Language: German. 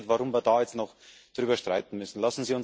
Ich verstehe nicht, warum wir jetzt noch darüber streiten müssen.